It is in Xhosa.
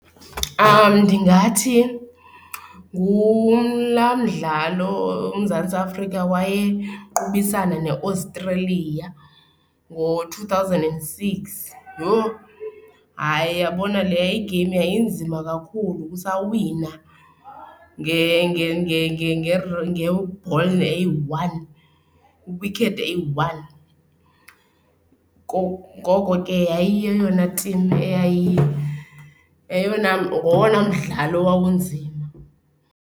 Ndingathi ngulaa mdlalo uMzantsi Afrika wayeqobisana neAustralia ngo-two thousand and six. Yho! Hayi, uyabona leya i-game yayinzima kakhulu sawina nge-ball eyi-one, i-wicket eyi-one. Ngoko ke yayi yeyona timu yeyona ngowona mdlalo owawunzima.